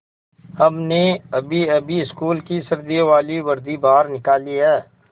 हमने अभीअभी स्कूल की सर्दियों वाली वर्दी बाहर निकाली है